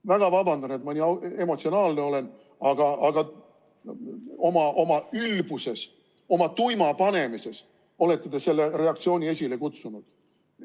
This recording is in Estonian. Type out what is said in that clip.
Ma väga vabandan, et ma nii emotsionaalne olen, aga oma ülbuses, oma tuima panemises olete te selle reaktsiooni esile kutsunud.